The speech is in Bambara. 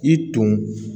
I tun